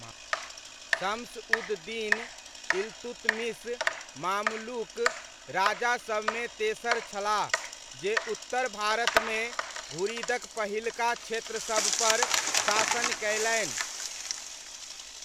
शम्स उद दीन इल्तुतमिश मामलुक राजासबमे तेसर छलाह जे उत्तर भारतमे घुरिदक पहिलका क्षेत्रसबपर शासन कयलनि।